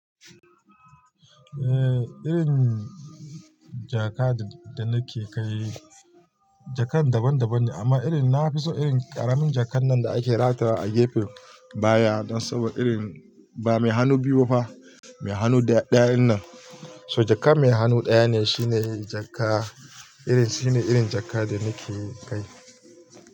Eh, irin jaka da nake kai, jakan daban daban ne amma irin na, na fi son irin ƙaraminjakan nan da ake ratara a gefen baya dan saboda irin ba mai hannu biyu ba fa, mai hannu ɗayan nan. So jaka mai hannu ɗaya ne shine jaka, irin shine irin jaka da nake kai.